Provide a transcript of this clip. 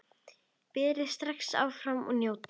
Berið strax fram og njótið!